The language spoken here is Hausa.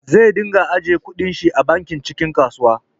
Zai dunga ajjiye kudin shi a bakin cikin kasuwa